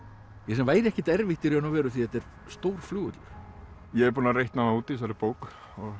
sem væri ekkert erfitt í raun og veru því þetta er stór flugvöllur ég er búinn að reikna það út í þessari bók